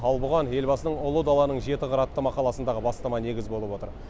ал бұған елбасының ұлы даланың жеті қыры атты мақаласындағы бастама негіз болып отыр